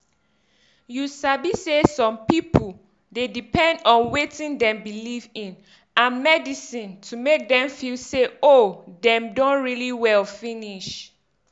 you sabi say some pipu dey depend on wetin dem believe in and medisin to make dem feel say oohh dem don really well finish.